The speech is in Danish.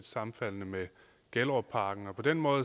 sammenfaldende med gellerupparken på den måde